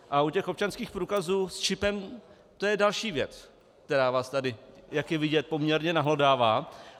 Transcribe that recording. A u těch občanských průkazů s čipem, to je další věc, která vás tady, jak je vidět, poměrně nahlodává.